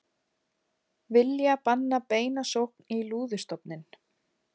Vilja banna beina sókn í lúðustofninn